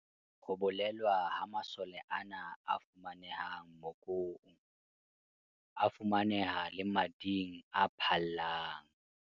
Ho bolelwa ha masole ana a fumanehang mokong, a fumaneha le mading a phallang.